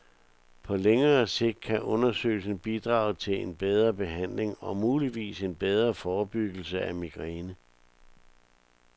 På længere sigt kan undersøgelsen bidrage til en bedre behandling og muligvis en bedre forebyggelse af migræne.